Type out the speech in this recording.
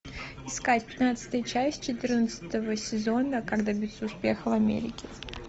искать пятнадцатая часть четырнадцатого сезона как добиться успеха в америке